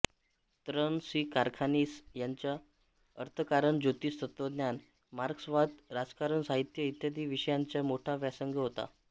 त्र्यं सी कारखानीस यांचा अर्थकारण ज्योतिष तत्त्वज्ञान मार्क्सवाद राजकारण साहित्य इत्यादी विषयांचा मोठा व्यासंग होता